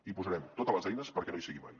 hi posarem totes les eines perquè no hi sigui mai